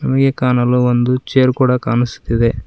ನಮಗೆ ಕಾಣಲು ಒಂದು ಚೇರ್ ಕೂಡ ಕಾಣಿಸುತ್ತಿದೆ.